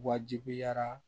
Wajibiyara